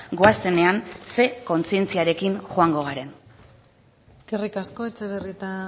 goazenean ze kontzientziarekin joango garen eskerrik asko etxebarrieta